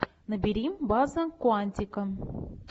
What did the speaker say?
набери база куантико